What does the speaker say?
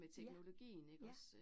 Ja, ja